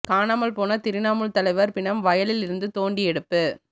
காணாமல் போன திரிணாமுல் தலைவர் பிணம் வயலில் இருந்து தோண்டி எடுப்பு